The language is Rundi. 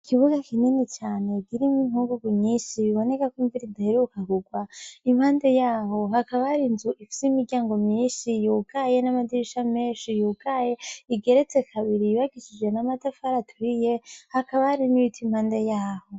Ikibuga kinini cane kirimwo inkungugu nyishi biboneka ko imvura idaheruka kurwa impande yaho hakaba hari inzu ifise imiryango myishi yugaye n'amadirisha meshi yugaye igeretse kabiri yubakishijwe n'amatafari aturiye hakaba hari n'ibiti impande yaho.